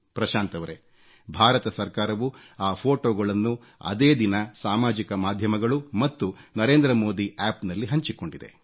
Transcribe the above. ಪ್ರಶಾಂತ್ ರವರೇ ಭಾರತ ಸರ್ಕಾರವು ಆ ಫೋಟೋ ಗಳನ್ನು ಅದೇ ದಿನ ಸಾಮಾಜಿಕ ಮಾಧ್ಯಮಗಳು ಮತ್ತು NarendraModiApp ನಲ್ಲಿ ಹಂಚಿಕೊಂಡಿದೆ